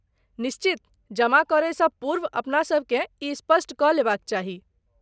निश्चित, जमा करयसँ पूर्व अपनासभकेँ ई स्पष्ट कऽ लेबाक चाही।